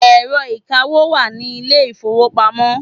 Ẹ̀rọ ìkawó wà ní ilé ìfowópamọ́.